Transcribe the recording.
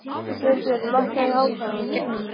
Vilbjörn, lækkaðu í hátalaranum.